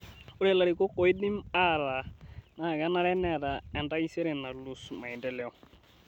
Ore larikok oidim aataa na kenare neeta entaisere naa loas maendeleo